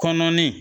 Kɔnɔnin